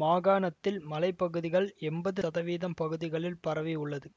மாகாணத்தில் மலைப்பகுதிகள் எம்பது ரதவீதம் பகுதிகளில் பரவி உள்ளது